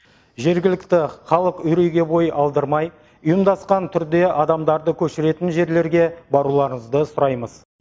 жергілікті халық үрейге бой алдырмай ұйымдасқан түрде адамдарды көшіретін жерлерге баруларыңызды сұраймыз